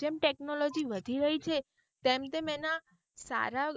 જેમ technology વધી રહી છે તેમ તેમ તેના સારા